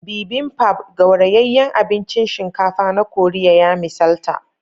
Bibimbap, gaurayayyen abincin shinkafa na Koriya, ya misalta